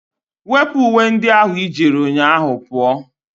Wepụ uwe ndị ahụ ị jiri ụnyaahụ pụọ!